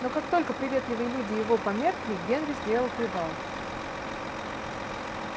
но как только приветливые люди его померкли генри сделал привал